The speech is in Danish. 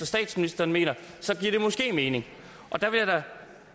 statsministeren mener så giver det måske mening der vil jeg da